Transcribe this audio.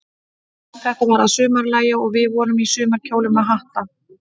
Þetta var að sumarlagi, og við vorum í sumarkjólum með hatta.